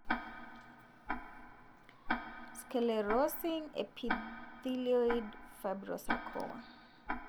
Sclerosing epithelioid fibrosarcoma.